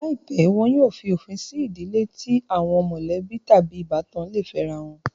Láìpẹ́, wọn yóò fí òfin sí ìdílé tí àwọn mọ̀lẹ́bí tàbí ìbátan le fẹ́rá wọn